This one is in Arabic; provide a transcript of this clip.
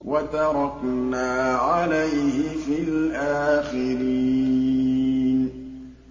وَتَرَكْنَا عَلَيْهِ فِي الْآخِرِينَ